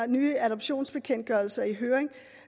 nye adoptionsbekendtgørelser i høring